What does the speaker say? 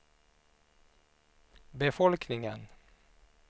befolkningen